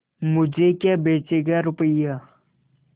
मुझे क्या बेचेगा रुपय्या